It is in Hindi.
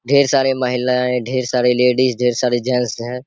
ढ़ेर सारी महिलाए ढ़ेर सारी लेडीज ढ़ेर सारे जेंट्स हैं।